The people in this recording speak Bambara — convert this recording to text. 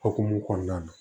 Okumu kɔnɔna na